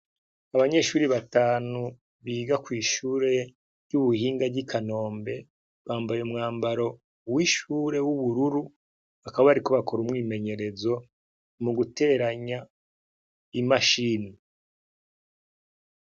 Abanyeshure batanu biga kw'ishuri ry'ubuhinga ry'ikanombe bambaye umwambaro w'ishuri w'ubururu bakaba bariko bakora umwimenyerezo mugiteranya imashini.